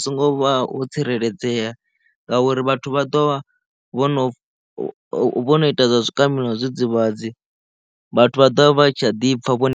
so ngo tsireledzea ngauri vhathu vha ḓo vha vhono vho no ita zwa zwikambi na zwidzidzivhadzi vhathu vha ḓo vha vha tshi a ḓipfa vho.